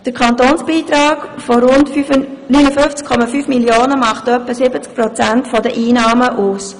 Der Kantonsbeitrag von rund 59,5 Mio. Franken macht etwa 70 Prozent der Einnahmen aus.